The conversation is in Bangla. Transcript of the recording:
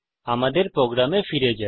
আমাদের প্রোগ্রামে ফিরে যাই